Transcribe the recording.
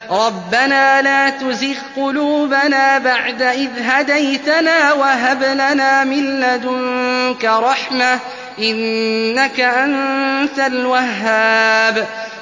رَبَّنَا لَا تُزِغْ قُلُوبَنَا بَعْدَ إِذْ هَدَيْتَنَا وَهَبْ لَنَا مِن لَّدُنكَ رَحْمَةً ۚ إِنَّكَ أَنتَ الْوَهَّابُ